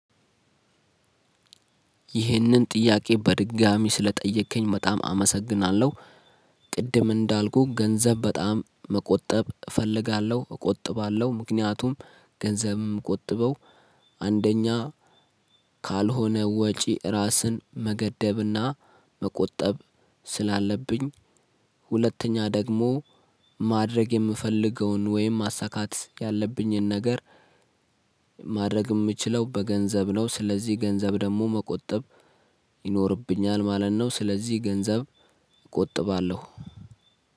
ይህንን ጥያቄ በድጋሚ ስለጠየከኝ በጣም አመሰግናለሁ። ቅድም እንዳልኩህ ገንዘብ በጣም መቆጠብ እፈልጋለሁ እቆጥባለሁ ምክንያቱም ገንዘብም የምቆጥበው አንደኛ ካልሆነ ወጪ ራስን መገደብና መቆጠብ ስላለብኝ። ሁለተኛ ደግሞ ማድረግ የምፈልገውን ወይም ማሳካት ያለብኝን ነገር። ማድረግ የምችለው በገንዘብ ነው ስለዚህ ገንዘብ ደግሞ መቆጠብ ይኖርብኛል ማለት ነው። ስለዚህ ገንዘብ እቆጥባለሁ።